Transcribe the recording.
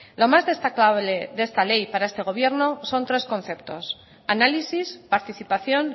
lo más destacable de esta ley para este gobierno son tres conceptos análisis participación